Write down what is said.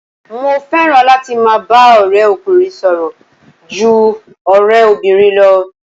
Mo fẹ́ràn láti máa bá ọ̀rẹ́ ọkùnrin sọ̀rọ̀ ju ọ̀rẹ́ obìnrin lọ.